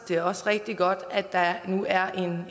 det er også rigtig godt at der nu er